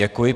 Děkuji.